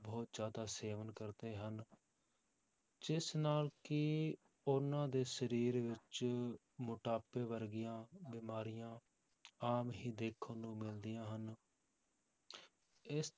ਬਹੁਤ ਜ਼ਿਆਦਾ ਸੇਵਨ ਕਰਦੇ ਹਨ ਜਿਸ ਨਾਲ ਕਿ ਉਹਨਾਂ ਦੇ ਸਰੀਰ ਵਿੱਚ ਮੋਟਾਪੇ ਵਰਗੀਆਂ ਬਿਮਾਰੀਆਂ ਆਮ ਹੀ ਦੇਖਣ ਨੂੰ ਮਿਲਦੀਆਂ ਹਨ ਇਸ